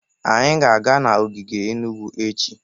Anyị ga-aga ogige Enugu echi.